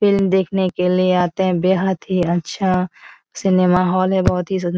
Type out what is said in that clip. film देखने के लिए आते है बेहद ही अच्छा सिनेमा हॉल है बहुत ही सुन --